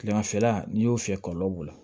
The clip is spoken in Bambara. Kilemafɛla n'i y'o fiyɛ kɔlɔlɔ b'o la